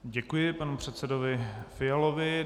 Děkuji panu předsedovi Fialovi.